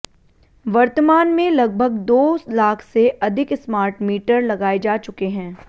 वर्तमान में लगभग दो लाख से अधिक स्मार्ट मीटर लगाए जा चुके हैं